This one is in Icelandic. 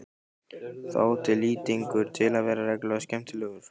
Þá átti Lýtingur til að vera reglulega skemmtilegur.